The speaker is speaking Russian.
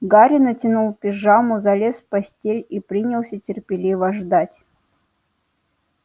гарри натянул пижаму залез в постель и принялся терпеливо ждать